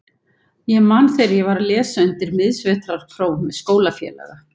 Ég man þegar ég var að lesa undir miðsvetrarpróf með skólafélaga.